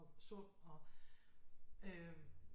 Og sund og øh